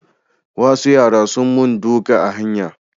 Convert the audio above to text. Wasu yara sun mun duka a hanya